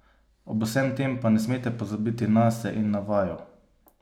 Ob vsem tem pa ne smete pozabiti nase in na vaju!